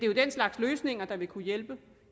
jo den slags løsninger der vil kunne hjælpe